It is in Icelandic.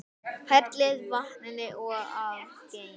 Hellið vatninu af og geymið.